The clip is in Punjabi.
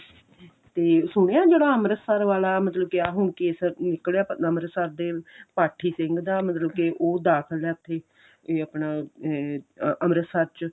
ਤੇ ਸੁਣਿਆ ਜਿਹੜਾ ਅਮ੍ਰਿਤਸਰ ਵਾਲਾ ਮਤਲਬ ਕੇ ਆ ਹੁਣ case ਨਿਕਲਿਆ ਅਮ੍ਰਿਤਸਰ ਦੇ ਪਾਠੀ ਸਿੰਘ ਦਾ ਮਤਲਬ ਕੀ ਉਹ ਦਾਖਲ ਆ ਉਥੇ